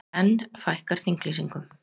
Enn fækkar þinglýsingum